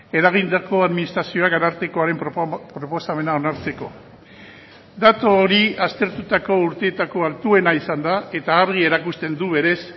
eragindako administrazioak arartekoaren proposamena onartzeko datu hori aztertutako urteetako altuena izan da eta argi erakusten du berez